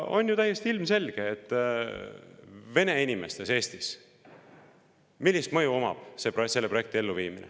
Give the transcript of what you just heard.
On ju ilmselge, milline mõju on selle projekti elluviimisel vene inimestele Eestis.